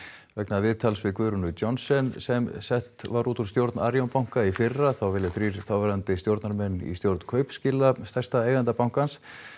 vegna viðtals við Guðrúnu Johnsen sem sett var út úr stjórn Arion banka í fyrra þá vilja þrír þáverandi stjórnarmenn í stjórn Kaupskila stærsta eiganda bankans